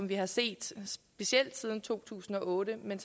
vi har set dem specielt siden to tusind og otte men